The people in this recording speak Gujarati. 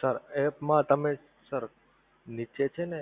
sir app માં તમે સર નીચે છે ને